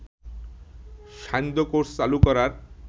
সান্ধ্য কোর্স চালু করার